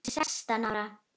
Hún er sextán ára.